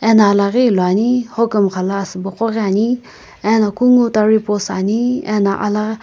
hino alaghi ilo ani hokumkha lo asubo qo ghi ani eno kungu taripost ani alaghi.